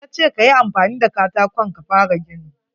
Ya ce ka yi amfani da katakon ka fara gini.